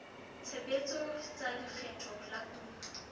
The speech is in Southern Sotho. tshebetso tsa lekgetho la kuno